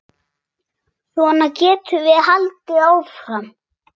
Svona getum við haldið áfram.